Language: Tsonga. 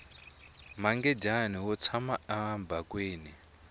mangadyani wu tshama ebakweni